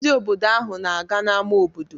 Ndị obodo ahụ na-aga n'ámá obodo.